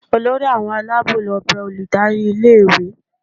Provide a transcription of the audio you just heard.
olori awọn alabo lo be olùdarí ilé ìwé